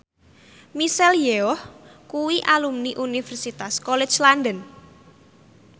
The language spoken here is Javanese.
Michelle Yeoh kuwi alumni Universitas College London